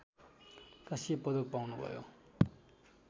काँस्य पदक पाउनुभयो